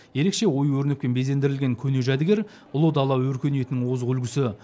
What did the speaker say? ерекше ою өрнекпен безендірілген көне жәдігер ұлы дала өркениетінің озық үлгісі